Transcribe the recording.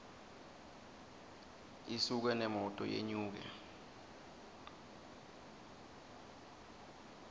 isuke nemoto yenyuke